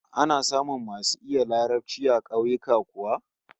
Ana samun masu iya Larabci a kauyuka kuwa?